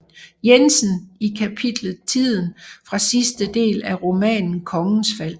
Jensen i kapitlet Tiden fra sidste del af romanen Kongens Fald